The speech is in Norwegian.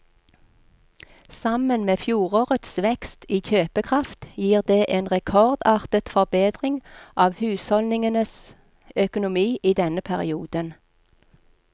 Sammen med fjorårets vekst i kjøpekraft gir det en rekordartet forbedring av husholdningenes økonomi i denne perioden.